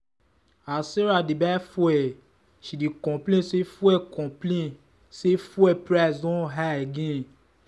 as sarah dey buy fuel she dey complain say fuel complain say fuel price don high again.